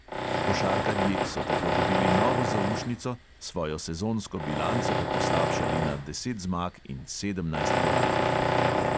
Košarkarji so tako dobili novo zaušnico, svojo sezonsko bilanco pa poslabšali na deset zmag in sedemnajst porazov.